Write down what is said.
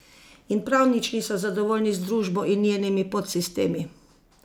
In prav nič niso zadovoljni z družbo in njenimi podsistemi.